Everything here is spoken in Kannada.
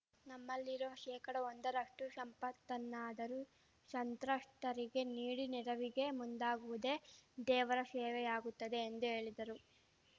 ನಮ್ಮಲ್ಲಿರುವ ಶೇಕಡಒಂದರಷ್ಟುಶಂಪತ್ತನ್ನಾದರೂ ಶಂತ್ರಸ್ತರಿಗೆ ನೀಡಿ ನೆರವಿಗೆ ಮುಂದಾಗುವುದೇ ದೇವರ ಶೇವೆಯಾಗುತ್ತದೆ ಎಂದು ಹೇಳಿದರು